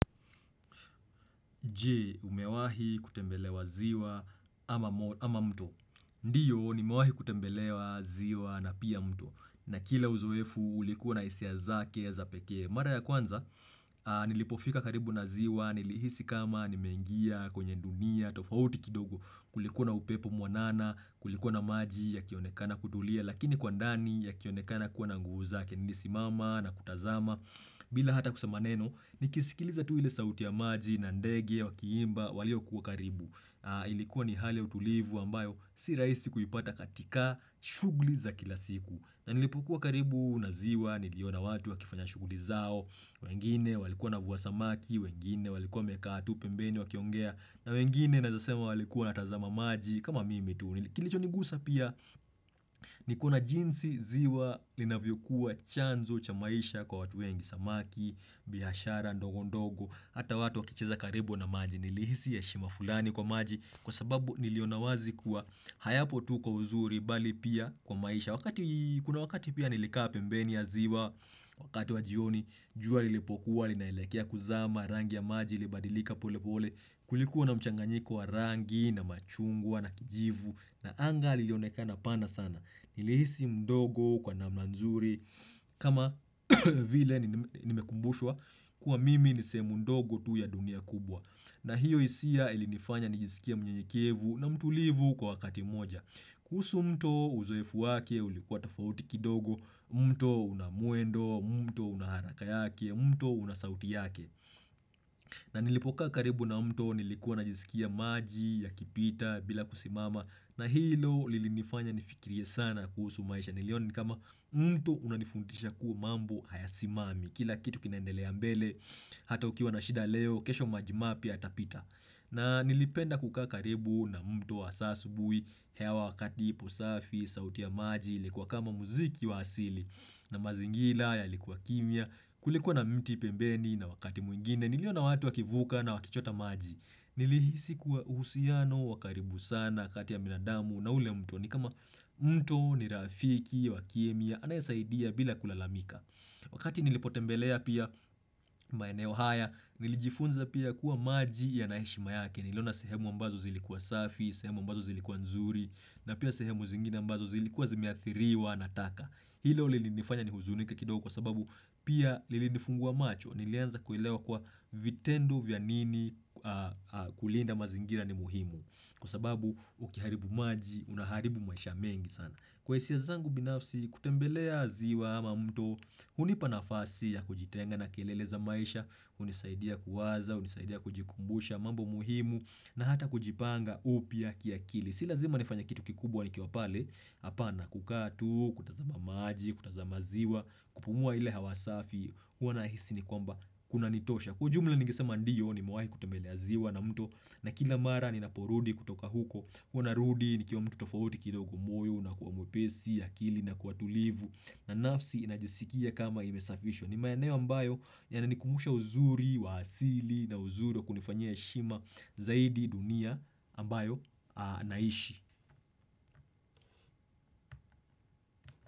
Je? Umewahi kutembelea ziwa ama mto. Ndio, nimewahi kutembelea ziwa na pia mto. Na kila uzoefu, ulikuwa na hisia zake za pekee. Mara ya kwanza, nilipofika karibu na ziwa, nilihisi kama, nimengia, kwenye dunia tofauti kidogo. Kulikuwa na upepo mwanana, kulikuwa na maji yakionekana kutulia, lakini kwa ndani yakionekana kuwa na nguvu, nilisimama na kutazama, bila hata kusema neno, nikisikiliza tu ile sauti ya maji na ndege, wakiimba walio kuwa karibu Ilikuwa ni hali ya utulivu ambayo si rahisi kuipata katika shughuli za kila siku na nilipokuwa karibu na ziwa, niliona watu wakifanya shughuli zao wengine walikuwa wanavua samaki, wengine walikuwa wamekaa tu, pembeni wakiongea na wengine naweza sema walikuwa wanatazama maji kama mimi tu. Kilichonigusa pia ni kuna jinsi ziwa linavyo kuwa chanzo cha maisha kwa watu wengi samaki, biashara ndogo ndogo, hata watu wakicheza karibu na maji nilihisi heshima fulani kwa maji kwa sababu niliona wazi kuwa hayapo tu kwa uzuri bali pia kwa maisha. Wakati kuna wakati pia nilikaa pembeni ya ziwa, wakati wajioni, jua lilipokuwa, linaelekea kuzama, rangi ya maji, libadilika pole pole, kulikuwa na mchanganyiko wa rangi, na machungwa, na kijivu, na anga lilionekana pana sana. Nilihisi mdogo kwa namna nzuri, kama vile nimekumbushwa, kuwa mimi ni sehemu ndogo tu ya dunia kubwa. Na hiyo hisia ilinifanya nijisikie mnyenyekevu na mtulivu kwa wakati moja. Kuhusu mto uzoefu wake, ulikuwa tofauti kidogo, mto unamuendo, mto unaharaka yake, mto unasauti yake na nilipokaa karibu na mto nilikuwa najisikia maji yakipita bila kusimama na hilo lilinifanya nifikirie sana kuhusu maisha niliona ni kama mto unanifundisha kuwa mambo hayasimami kila kitu kinaendelea mbele, hata ukiwa na shida leo, kesho maji mapya yatapita na nilipenda kukaa karibu na mto wa saa asubuhi, hewa wakati ipo safi, sauti ya maji, ilikuwa kama muziki wa asili, na mazingira yalikuwa kimya, kulikuwa na mti pembeni na wakati mwingine, niliona watu wakivuka na wakichota maji. Nilihisi kuwa uhusiano wa karibu sana kati ya binadamu na ule mto ni kama mto ni rafiki wa kimya anayesaidia bila kulalamika. Wakati nilipotembelea pia maeneo haya nilijifunza pia kuwa maji yana heshima yake niliona sehemu ambazo zilikuwa safi, sehemu ambazo zilikuwa nzuri na pia sehemu zingine ambazo zilikuwa zimeathiriwa na taka. Hilo lilinifanya nihuzunike kidogo kwa sababu pia lilinifungua macho nilianza kuelewa kuwa vitendo vya nini kulinda mazingira ni muhimu kwa sababu ukiharibu maji unaharibu maisha mengi sana. Kwa hisia zangu binafsi kutembelea ziwa ama mto hunipa nafasi ya kujitenga na kelele za maisha, hunisaidia kuwaza, hunisaidia kujikumbusha mambo muhimu na hata kujipanga upya kiakili si lazima nifanye kitu kikubwa nikiwa pale, hapana kukaa tu, kutazama maji, kutazama ziwa kupumua ile hewa safi huwa nahisi ni kwamba kunanitosha kwa ujumla ningesema ndio nimewahi kutembelea ziwa na mto na kila mara ninaporudi kutoka huko huwa narudi nikiwa mtu tofauti kidogo, moyo unakuwa mwepesi, akili inakuwa tulivu na nafsi inajisikia kama imesafishwa. Ni maeneo ambayo yananikumbusha uzuri wa asili na uzuri wa kunifanyia heshima zaidi dunia ambayo naishi.